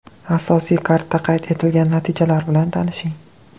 Asosiy kardda qayd etilgan natijalar bilan tanishing: !